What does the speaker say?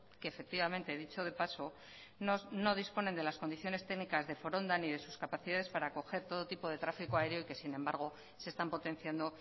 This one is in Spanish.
que efectivamente dicho de paso no disponen de las condiciones técnicas de foronda ni de sus capacidades para acoger todo tipo de trafico aéreo que sin embargo se están potenciando